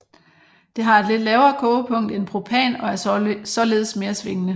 Det har et lidt lavere kogepunkt end propan og er således mere svingende